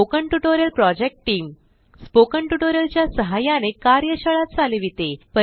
spoken tutorial project team spoken tutorial च्या सहाय्याने कार्यशाळा चालविते